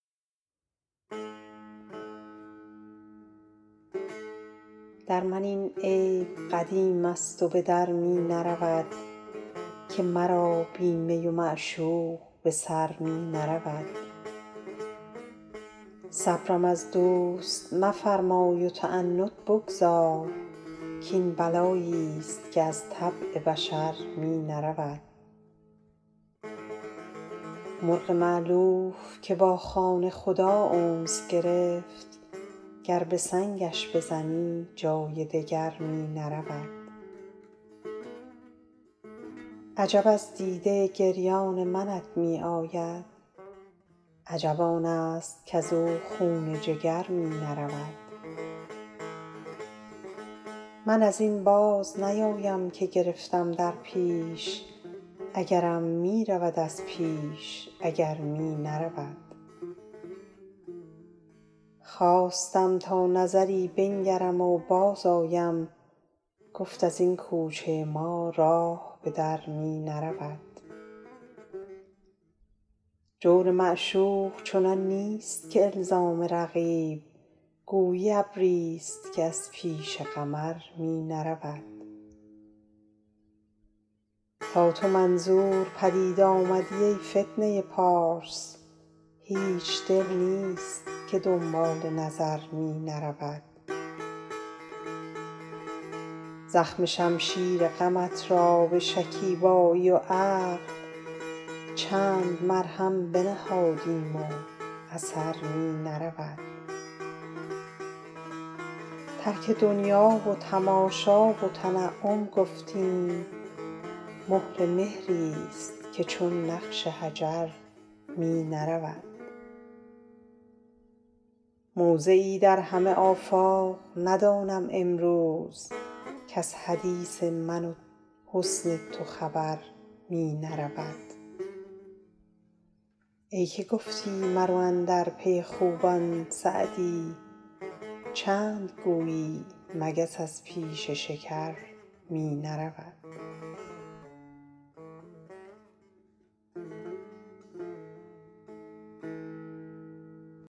در من این عیب قدیم است و به در می نرود که مرا بی می و معشوق به سر می نرود صبرم از دوست مفرمای و تعنت بگذار کاین بلایی ست که از طبع بشر می نرود مرغ مألوف که با خانه خدا انس گرفت گر به سنگش بزنی جای دگر می نرود عجب از دیده گریان منت می آید عجب آن است کز او خون جگر می نرود من از این باز نیایم که گرفتم در پیش اگرم می رود از پیش اگر می نرود خواستم تا نظری بنگرم و بازآیم گفت از این کوچه ما راه به در می نرود جور معشوق چنان نیست که الزام رقیب گویی ابری ست که از پیش قمر می نرود تا تو منظور پدید آمدی ای فتنه پارس هیچ دل نیست که دنبال نظر می نرود زخم شمشیر غمت را به شکیبایی و عقل چند مرهم بنهادیم و اثر می نرود ترک دنیا و تماشا و تنعم گفتیم مهر مهری ست که چون نقش حجر می نرود موضعی در همه آفاق ندانم امروز کز حدیث من و حسن تو خبر می نرود ای که گفتی مرو اندر پی خوبان سعدی چند گویی مگس از پیش شکر می نرود